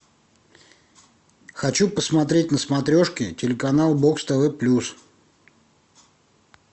хочу посмотреть на смотрешке телеканал бокс тв плюс